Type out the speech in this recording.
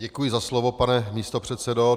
Děkuji za slovo, pane místopředsedo.